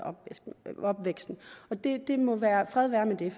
opvæksten fred være med det